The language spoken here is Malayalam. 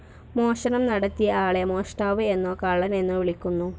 മോഷണം നടത്തിയ ആളെ മോഷ്ടാവ് എന്നോ കള്ളൻ എന്നോ വിളിക്കുന്നു.